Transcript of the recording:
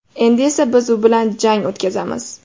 Endi esa biz u bilan jang o‘tkazamiz.